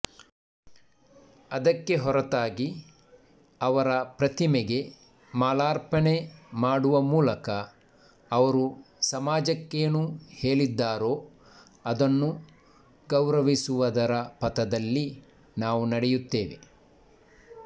ಅದಕ್ಕೆ ಹೊರತಾಗಿ ಅವರ ಪ್ರತಿಮೆಗೆ ಮಾಲಾರ್ಪಣೆ ಮಾಡುವ ಮೂಲಕ ಅವರು ಸಮಾಜಕ್ಕೇನು ಹೇಳಿದ್ದರೋ ಅದನ್ನು ಗೌರವಿಸುವದರ ಪಥದಲ್ಲಿ ನಾವು ನಡೆಯುತ್ತೇವೆ